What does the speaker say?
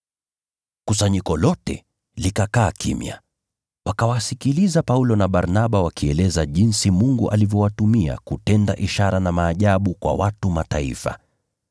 Kusanyiko lote likakaa kimya, wakawasikiliza Paulo na Barnaba wakieleza jinsi Mungu alivyowatumia kutenda ishara na maajabu kwa watu wa Mataifa.